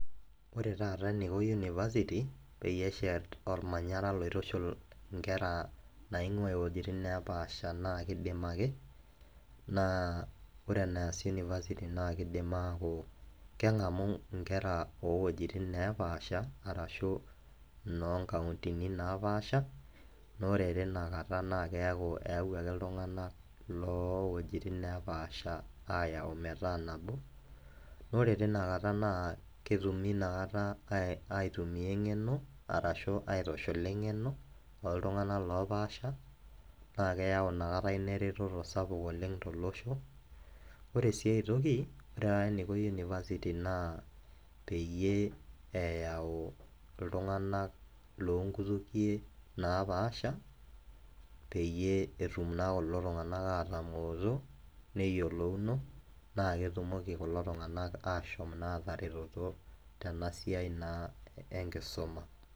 Ore taata eniko university peyie eshet ormanyara loitushul inkera naingwaa iwuejitin neepaasha naa kidim ake naa ore enaas university naa kidim aaku kengamu inkera owuejitin neepaasha arashu inoo nkauntini naapasha naa ore tina kata keaku eyawuaki iltunganak lowuejitin neepaasha ayau metaa nabo . Naa ore tinakata naa ketumi tinakata aitumia engeno arashu aitushula engeno oltunganak loopaasha naa keyau inakata ina ereteto sapuk oleng tolosho. Ore sii aetoki ore taata eniko university naa peyie eyau iltunganak lonkutukie naapasha peyie etumnaa kulo tunganak atamoto neyieolouno naa ketumoki kulo tunganak ashom naa ataretoto tena siai naa enkisuma.